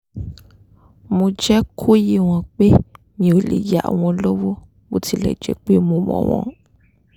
mo jẹ́ kó yé wọn pé mi ò lè yá wọn lówó bó tilẹ̀ jẹ́ pé mo mọ̀ wọ́n